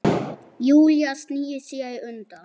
Hvað liggur þér svona á?